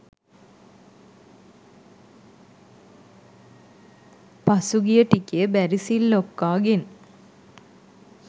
පහුගිය ටිකේ බැරිසිල් ලොක්කා ගෙන්